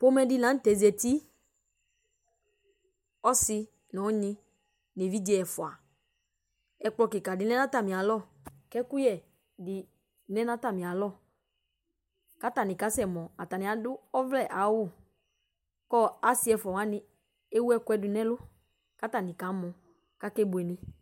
Pomɛdi la nu tɛ zati ɔsi nu unyi nu evidze ɛfua ɛkplɔ kika di lɛ nu atamialɔ ku ɛkuyɛ bi lɛ nu atamialɔ katani asɛ mɔ atani adu ɔvlɛ awu asi ɛfua wani ewu ɛkuɛdi nu ɛlu katani kamɔ kakebuele